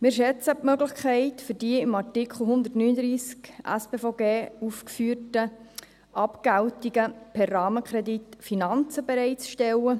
Wir schätzen die Möglichkeit der im Artikel 139 SpVG aufgeführten Abgeltungen, per Rahmenkredit Finanzen bereitzustellen.